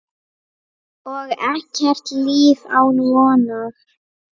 Og ekkert líf án vonar.